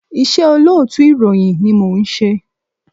Iṣẹ́ olóòtú ìròyìn ni mò ń ṣe.